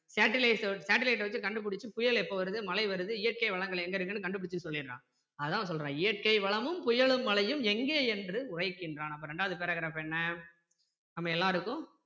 satellite வச்சி கண்டு பிடிச்சு புயல் எப்போ வருது மழை வருது இயற்கை வளங்கள் எங்க இருக்குன்னு கண்டுபிடிச்சி சொல்லிடுறான் அதான் சொல்றான் இயற்கை வளமும் புயலும் மழையும் எங்கே என்று உரைக்கின்றான் அப்ப இரண்டாவது paragraph என்ன நம்ம எல்லாருக்கும்